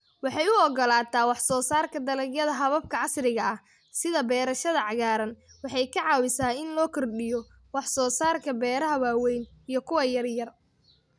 Waxay u ogolaataa wax soo saarka dalagyada hababka casriga ah, sida beerashada cagaaran Waxay ka caawisaa in la kordhiyo wax-soo-saarka beeraha waaweyn iyo kuwa yaryar.